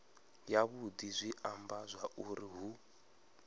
yavhudi zwi amba zwauri hu